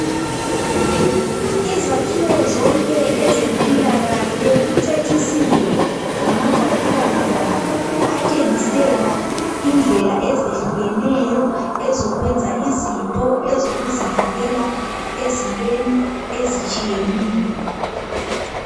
Izakhiwo zonke ezempilakahle kucecisiwe ngamagwalibamduli atshengisela indlela ezehlukeneyo ezokwenza izinto ezokuzivikela ezintweni ezitshiyeneyo.